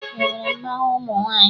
E nwere mmanwụ ụmụ nwaanyị?